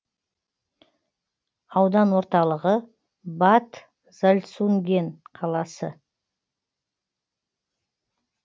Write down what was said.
аудан орталығы бад зальцунген қаласы